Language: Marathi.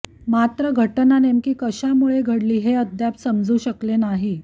मात्र घटना नेमकी कशा मुळे घडली हे अद्याप समजु शकले नाही